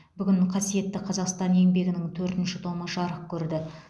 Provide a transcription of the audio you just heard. бүгін қасиетті қазақстан еңбегінің төртінші томы жарық көрді